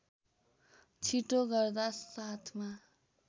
छिटो गर्दा साथमा